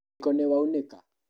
Mũiko nĩwaunĩka?